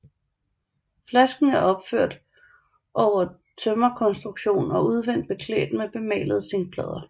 Flasken er opført over en tømmerkonstruktion og udvendigt beklædt med bemalede zinkplader